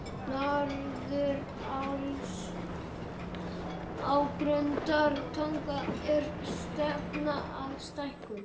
Norðuráls á Grundartanga að stefna að stækkun